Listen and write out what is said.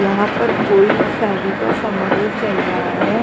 यहां पर कोई शादी का समारोह चल रहा है।